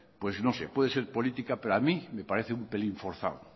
pues no sé puede ser política pero a mí me parece un pelín forzado